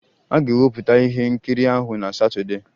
A ga-ewepụta ihe nkiri ahụ na Satọdee